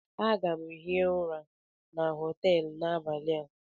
Aga m hie ụra na họtelu n'abalị a.